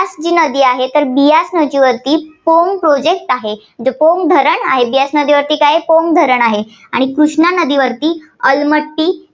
यास जी नदी आहे, बियास नदीवरती पोंग Project आहे. पोंग धरण आहे. बियास नदीवरती काय आहे, पोंग धरण आहे. आणि कृष्णा नदीवरती अलमट्टी